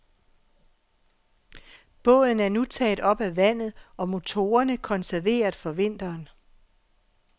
Båden er nu taget op af vandet og motorerne konserveret for vinteren.